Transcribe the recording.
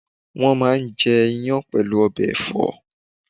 wọn máà ń jẹ́ iyán pẹ̀lú ọbẹ̀ ẹ̀fọ́